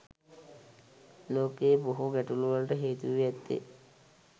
ලෝකයේ බොහෝ ගැටලුවලට හේතු වී ඇත්තේ